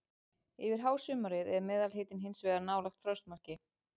Yfir hásumarið er meðalhitinn hins vegar nálægt frostmarki.